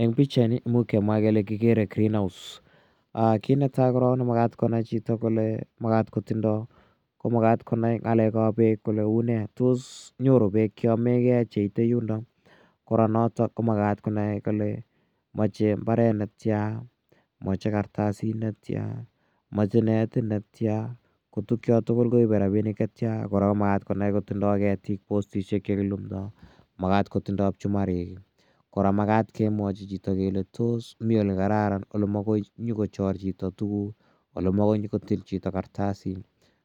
Eng' pichaini kimuch kemwa kele kikere green house. Kiit ne tai korok ne makat konai chito kole kotindai komakat konai ng'alek ap peek kole une, tos nyoru peek che yamegei cheite yundok. Kora notok ko makat konai kole mache mbaret netya, mache kartasit netya, kotukcha tugul koipe rapinik che tia. Kora ko makat konai kotindai ketik, postishek che kilumdai, makat ko tindai pchumarik i, kora makat kemwachi chito kole tos mi ole kararan ole makoi nyu kochor chito tuguk, ole makoi nyu kotil chito kartasit,